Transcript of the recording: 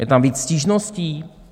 Je tam víc stížností?